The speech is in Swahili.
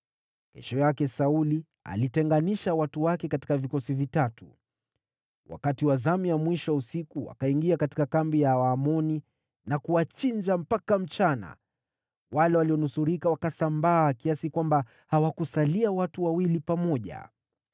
Kesho yake Sauli alitenganisha watu wake katika vikosi vitatu; wakati wa zamu ya mwisho ya usiku wakaingia katika kambi ya Waamoni na kuwachinja mpaka mchana. Wale walionusurika wakasambaa, kiasi kwamba hawakusalia watu wawili pamoja.